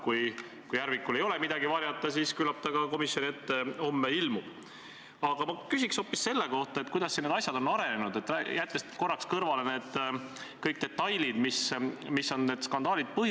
Okei, kui te ei taha mulle seaduse rikkumise kohta konkreetseid näiteid tuua – ma küsisin seaduse rikkumiste kohta –, siis tooge mulle konkreetseid näiteid vähemalt selle kohta, kui teie arvates on kohtud ja prokuratuur tegelenud poliitilise tellimusega.